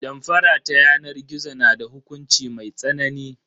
Damfara ta yanar gizo na da hukunci mai tsanani.